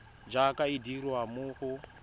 jaaka e dirwa mo go